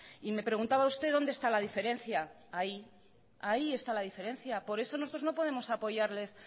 y me preguntaba usted dónde esta la diferencia ahí está la diferencia por eso nosotros no podemos apoyarles